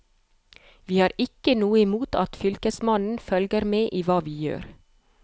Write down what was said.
Vi har ikke noe imot at fylkesmannen følger med i hva vi gjør.